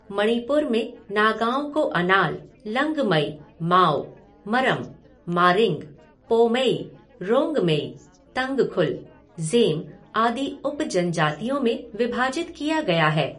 मणिपुर में नगाओं को अनाल, लंगमई, माओ, मरम, मारिंग, पौमेई, रोंगमेई, तंगखुल, ज़ेम आदि उप जनजातियों में विभाजित किया गया है।